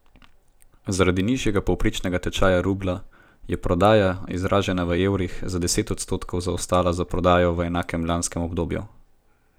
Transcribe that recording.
Zaradi nižjega povprečnega tečaja rublja je prodaja, izražena v evrih, za devet odstotkov zaostala za prodajo v enakem lanskem obdobju.